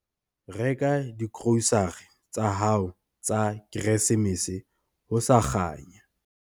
Reka digrosare tsa hao tsa Keresemese ho sa kganya.